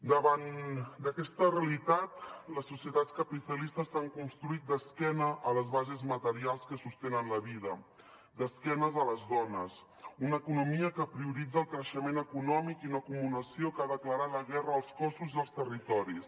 davant d’aquesta realitat les societats capitalistes s’han construït d’esquena a les bases materials que sostenen la vida d’esquena a les dones una economia que prioritza el creixement econòmic i una acumulació que ha declarat la guerra als cossos i als territoris